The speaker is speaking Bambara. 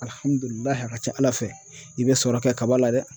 Alihamudulila a ka ca Ala fɛ i bɛ sɔrɔ kɛ kaba la dɛ